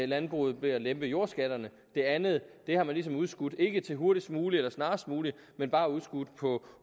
landbruget ved at lette jordskatterne det andet har man ligesom udskudt ikke til hurtigst muligt eller snarest muligt men bare på